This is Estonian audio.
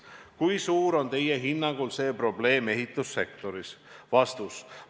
Kui suur on Teie hinnangul see probleem ehitussektoris?